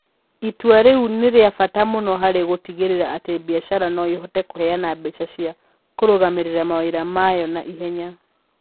Itua rĩu nĩ rĩa bata mũno harĩ gũtigĩrĩra atĩ biacara no ĩhote kũheana mbeca cia kũrũgamĩrĩra mawĩra mayo na ihenya.